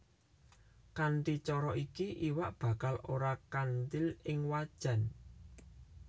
Kanthi cara iki iwak bakal ora kanthil ing wajan